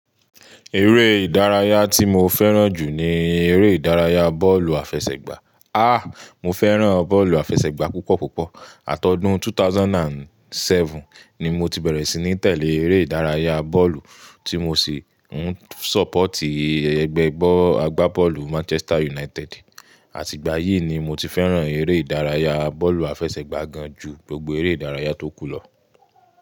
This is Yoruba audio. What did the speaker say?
Eré ìdárayá tí mo fẹ́ràn jù ní eré ìdárayá bọ́ọ̀lù àfẹsẹ̀gbá. Ah! Mo fẹ́ràn bọ́ọ̀lù àfẹsẹ̀gbá púpọ̀ púpọ̀. Àtọdún 2007 ni mo ti bẹ̀rẹ̀ sí ní tẹ̀lé eré ìdárayá bọ́ọ̀lù tí mo sì ń ṣọ́pọ̀tì ẹgbẹ́ ẹgbẹ́ agbá bọ́ọ̀lù Manchester United. Àti ìgbà yìí ni mo ti fẹ́ràn eré ìdárayá bọ́ọ̀lù àfẹsẹ̀gbá gan jú gbogbo eré ìdárayá tó kù lọ.